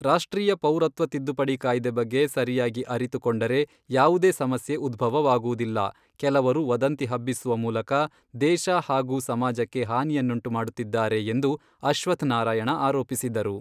ರಾಷ್ಟ್ರೀಯ ಪೌರತ್ವ ತಿದ್ದುಪಡಿ ಕಾಯ್ದೆ ಬಗ್ಗೆ ಸರಿಯಾಗಿ ಅರಿತುಕೊಂಡರೆ ಯಾವುದೇ ಸಮಸ್ಯೆ ಉದ್ಭವವಾಗುವುದಿಲ್ಲ ಕೆಲವರು ವದಂತಿ ಹಬ್ಬಿಸುವ ಮೂಲಕ ದೇಶ ಹಾಗೂ ಸಮಾಜಕ್ಕೆ ಹಾನಿಯನ್ನುಂಟುಮಾಡುತ್ತಿದ್ದಾರೆ ಎಂದು ಅಶ್ವಥ್ ನಾರಾಯಣ ಆರೋಪಿಸಿದರು.